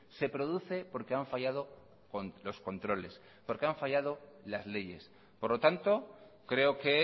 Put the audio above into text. se produce porque han fallado los controles y porque han fallado las leyes por lo tanto creo que